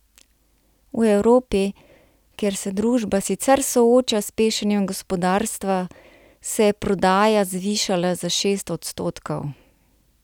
V Evropi, kjer se družba sicer sooča s pešanjem gospodarstva, se je prodaja zvišala za šest odstotkov.